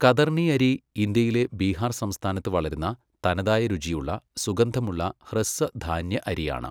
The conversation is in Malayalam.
കതർണി അരി ഇന്ത്യയിലെ ബീഹാർ സംസ്ഥാനത്ത് വളരുന്ന തനതായ രുചിയുള്ള, സുഗന്ധമുള്ള, ഹ്രസ്വ ധാന്യ അരിയാണ്.